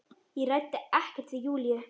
Ég ræddi ekkert við Júlíu.